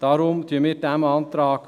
Deshalb folgen wir diesem Antrag.